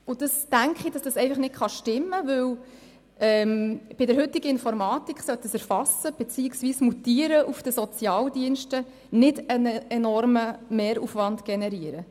Ich denke, dass dies einfach nicht stimmen kann, denn mit der heutigen Informatik sollte das Erfassen beziehungsweise das Mutieren auf den Sozialdiensten keinen enormen Mehraufwand generieren.